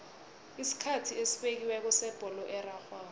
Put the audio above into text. isikhathi esibekiweko sebholo erarhwako